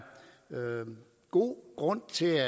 god grund til